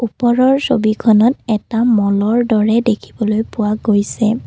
ওপৰৰ ছবিখনত এটা মলৰ দৰে দেখিবলৈ পোৱা গৈছে।